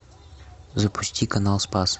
запусти канал спас